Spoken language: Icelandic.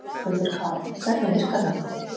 Höskuldur Kári: Hvernig virkar þetta?